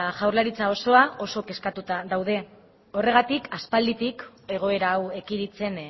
jaurlaritza osoa oso kezkatuta gaude horregatik aspalditik egoera hau ekiditen